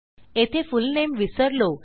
येथे फुलनेम विसरलो